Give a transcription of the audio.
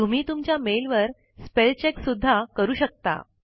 तुम्ही तुमच्या मेल वर स्पेल चेक सुधा करू शकता